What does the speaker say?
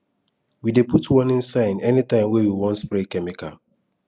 we dey put warning sign anytime we wan spray chemical